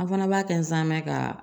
An fana b'a kɛ nsaamɛ ka